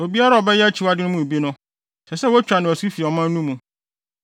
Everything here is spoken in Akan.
“ ‘Obiara a ɔbɛyɛ akyiwade yi mu bi no, ɛsɛ sɛ wotwa no asu fi ɔman no mu.